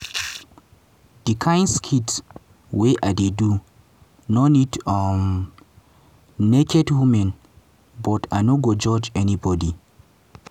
"di kain skit wey i dey do no need um naked women but i no go judge anybody.